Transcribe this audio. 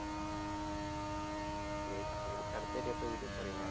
சரி சரி அடுத்ததாட்டி எப்ப வீட்டுக்கு போறீங்க